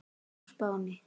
á Spáni.